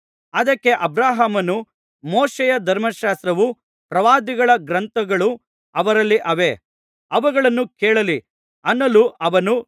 ಅದಕ್ಕೆ ಅಬ್ರಹಾಮನು ಮೋಶೆಯ ಧರ್ಮಶಾಸ್ತ್ರವೂ ಪ್ರವಾದಿಗಳ ಗ್ರಂಥಗಳೂ ಅವರಲ್ಲಿ ಅವೆ ಅವುಗಳನ್ನು ಕೇಳಲಿ ಅನ್ನಲು